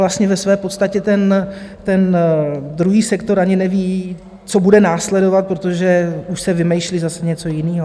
Vlastně ve své podstatě ten druhý sektor ani neví, co bude následovat, protože už se vymýšlí zase něco jiného.